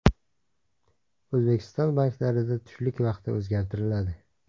O‘zbekiston banklarida tushlik vaqti o‘zgartiriladi.